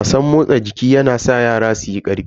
Wasan motsa jiki yana sa yara suyi karfi.